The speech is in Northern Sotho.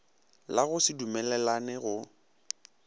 la go se dumelelane go